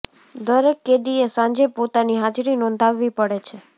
દરેક કેદીએ સાંજે પોતાની હાજરી નોંધાવવી પડે છે